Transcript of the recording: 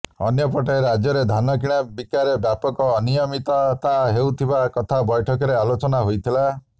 ଅନ୍ୟପଟେ ରାଜ୍ୟରେ ଧାନ କିଣା ବିକାରେ ବ୍ୟାପକ ଅନିୟମିତତା ହେଉଥିବା କଥା ବୈଠକରେ ଆଲୋଚନା ହୋଇଥିଲା